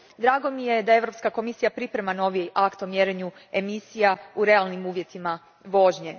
Drago mi je da Europska komisija priprema novi akt o mjerenju emisija u realnim uvjetima vožnje.